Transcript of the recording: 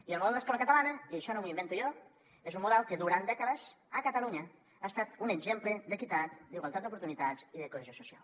i el model d’escola catalana i això no m’ho invento jo és un model que durant dècades a catalunya ha estat un exemple d’equitat d’igualtat d’oportunitats i de cohesió social